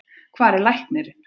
Hvar er læknirinn?